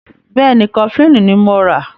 Bẹ́ẹ̀ni, Kọfilínì ní mọ rà.